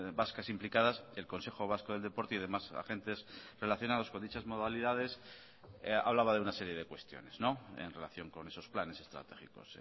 vascas implicadas el consejo vasco del deporte y demás agentes relacionados con dichas modalidades hablaba de una serie de cuestiones en relación con esos planes estratégicos